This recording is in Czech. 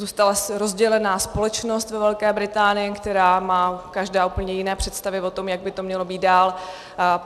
Zůstala rozdělená společnost ve Velké Británii, která má každá úplně jiné představy o tom, jak by to mělo být dál.